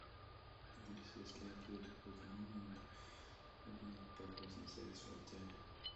алиса если я приеду поздно можно ли узнать про поздний заезд в отеле